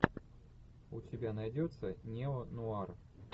у тебя найдется неонуар